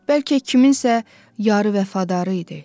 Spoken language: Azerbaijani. Bəlkə kimsə yarı vəfadarı idi.